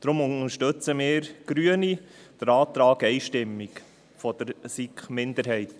Darum unterstützen wir Grüne den Antrag der SiK-Minderheit einstimmig.